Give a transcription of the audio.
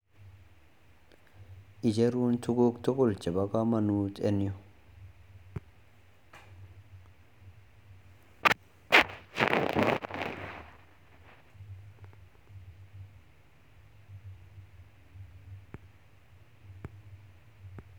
Icherunbtuguk tugul Cheba kamanut en Yu